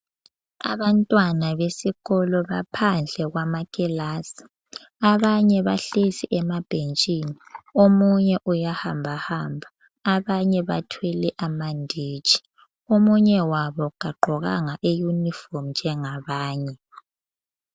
Abantwana besikolo baphandle kwamakilasi, abanye bahlezi emabhentshini, omunye uyahambahamba abanye bathwele amanditshi, omunye wabo kagqokanga iyunifomu njengabanye.